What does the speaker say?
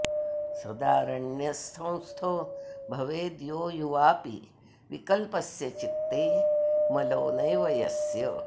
सदाऽरण्यसंस्थो भवेद् यो युवाऽपि विकल्पस्य चित्ते मलो नैव यस्य